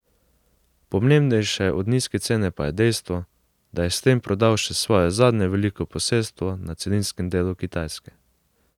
Pomembnejše od nizke cene pa je dejstvo, da je s tem prodal še svoje zadnje veliko posestvo na celinskem delu Kitajske.